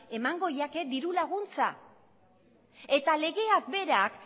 emango zaie diru laguntza eta legeak berak